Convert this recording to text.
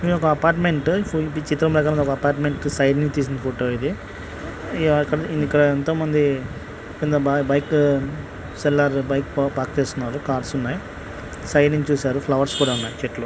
ఇది ఒక అపార్ట్మెంట్ ఈ చిత్రం ప్రకారం ఇది ఒక అపార్ట్మెంట్ సైడ్ నుంచి తీసిన ఫోటో . ఇది ఇక్కడ ఎంతోమంది కొందరు బై--బైక్ సెల్లార్లు బైక్ పా_పార్క్ చేస్కొన్నారు .కార్స్ ఉన్నాయి. సైడ్ నుండి చూశారు ఫ్లవర్స్ కూడా ఉన్నాయి. చెట్లు--